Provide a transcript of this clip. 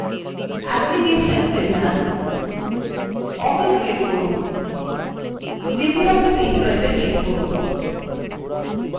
applications এ যান> office click করুন> libreoffice impressএ click করুন